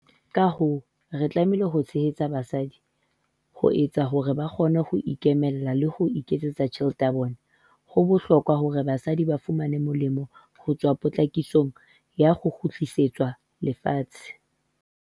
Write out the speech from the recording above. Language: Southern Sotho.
Ka hoo, re tlameha ho tshehetsa basadi ho etsa hore ba kgone ho ikemela le ho iketsetsa tjhelete ya bona. Ho bohlokwa hore basadi ba fumane molemo ho tswa potlakisong ya ho kgutlisetswa lefatshe.